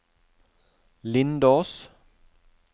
Lindås